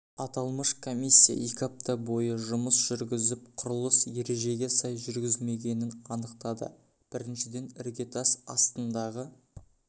аталмыш комиссия екі апта бойы жұмыс жүргізіп құрылыс ережеге сай жүргізілмегенін анықтады біріншіден іргетас астындағы